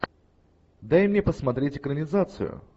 дай мне посмотреть экранизацию